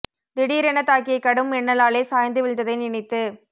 திடீரெனத் தாக்கிய கடும் மின்னலாலே சாய்ந்து விழுந்ததை நினைத்து